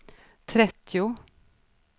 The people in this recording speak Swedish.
trettio